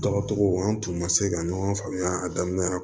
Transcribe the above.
Dɔgɔtɔrɔw an tun ma se ka ɲɔgɔn faamuya a daminɛ